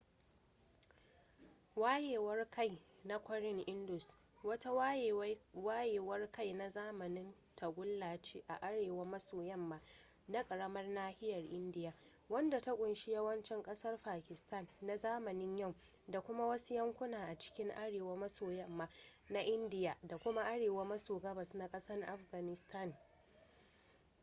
wayewar-kai na kwarin indus wata wayewar-kai na zamanin tagulla ce a arewa maso yamma na ƙaramar nahiyar indiya wadda ta ƙunshi yawancin ƙasar pakista na zamanin yau da kuma wasu yankuna a cikin arewa maso yamma na indiya da kuma arewa maso gabas na ƙasa afganistan